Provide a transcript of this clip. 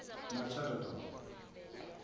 machadodorp